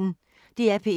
DR P1